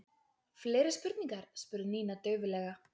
Fleiri spurningar? spurði Nína dauflega.